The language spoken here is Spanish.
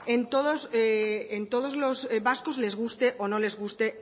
en todos los vascos les guste o no les guste